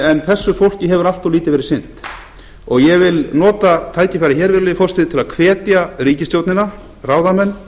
en þessu fólki hefur allt of lítið verið sinnt ég vil nota tækifærið hér virðulegi forseti til að hvetja ríkisstjórnina ráðamenn